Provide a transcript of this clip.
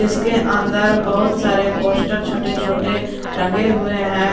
उसके अंदर बहुत सारे पोस्टर छोटे छोटे टंगे हुए हैं।